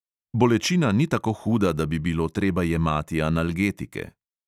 Bolečina ni tako huda, da bi bilo treba jemati analgetike.